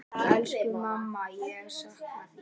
Elsku mamma, ég sakna þín.